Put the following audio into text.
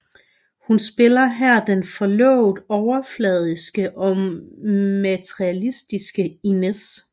Hun spiller her den forlovet overfladiske og materilistiske Inez